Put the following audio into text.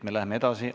Läheme edasi.